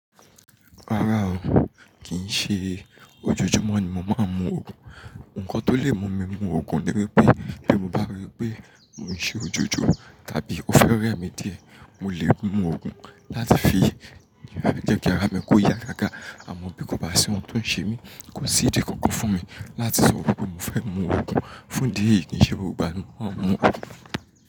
Rárá o, kì í ṣe ojoojúmọ́ ni mo máa ń mu Ògùn. Ǹnkan tó lè mú mi mu Ògùn ni wípé bí mo bá rí pé mò ń ṣe ojoojọ́ tàbí ó fẹ́ rẹ mí díẹ̀, mo lè mu Ògùn láti fi jẹ́ kí ara mi kó yá gágá. Àmọ́ bí kò bá sí ohun tó ń ṣe mí, kò sí ìdí kankan fún mi láti sọ wípé mo fẹ́ mu Ògùn. Fún idí eyii, ki i ṣe gbogbo igbáa ni mo máa ń mu.